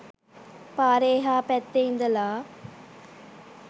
පාරේ එහා පැත්තේ ඉඳලා